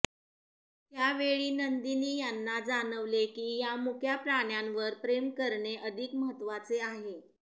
त्यावेळी नंदिनी यांना जाणवले की या मुक्या प्राण्यांवर प्रेम करणे अधिक महत्त्वाचे आहे